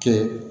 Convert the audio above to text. Kɛ